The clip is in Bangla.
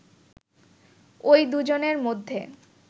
ওই দুজনের মধ্যে